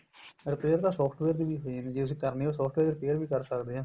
repair ਤਾਂ software ਦੀ ਵੀ ਹੋ ਜਾਂਦੀ ਜੇ ਅਸੀਂ ਕਰਨੀ ਏ software repair ਵੀ ਕਰ ਸਕਦੇ ਆ